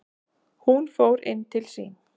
Hún fór inn til sín.